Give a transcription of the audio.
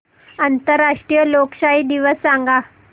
आंतरराष्ट्रीय लोकशाही दिवस सांगा